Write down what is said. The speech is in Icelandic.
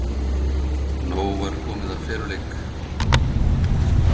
Nóg var komið af feluleik.